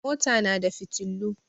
Mota na da fiotillu.